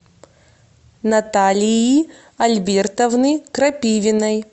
наталии альбертовны крапивиной